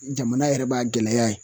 Jamana yɛrɛ b'a gɛlɛya ye.